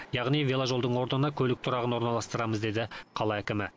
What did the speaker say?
яғни веложолдың ордына көлік тұрағын орналастырамыз деді қала әкімі